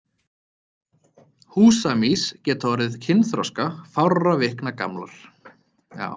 Húsamýs geta orðið kynþroska fárra vikna gamlar.